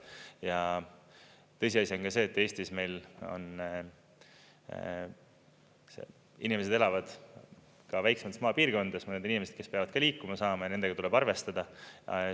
Ja tõsiasi on ka see, et Eestis meil inimesed elavad ka väiksemates maapiirkondades, mõned inimesed, kes peavad ka liikuma saama, ja nendega tuleb arvestada.